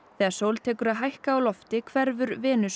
þegar sól tekur að hækka á lofti hverfur Venus